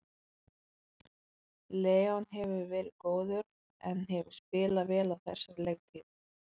Leon hefur verið góður en hefur spilað vel á þessari leiktíð.